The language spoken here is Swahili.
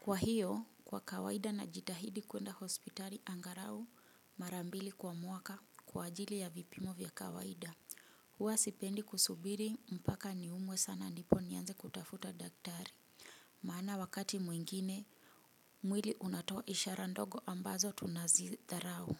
Kwa hiyo kwa kawaida najitahidi kuenda hospitali angalau mara mbili kwa mwaka kwa ajili ya vipimo vya kawaida huwa sipendi kusubiri mpaka niumwe sana ndipo nianze kutafuta daktari. Maana wakati mwingine mwili unatoa ishara ndogo ambazo tunazidharau.